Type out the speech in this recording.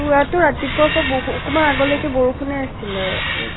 তুৰাটো ৰাতিপুৱাৰ পৰা বষুন, অকমান আগলৈকে বৰষুনে আছিলে এ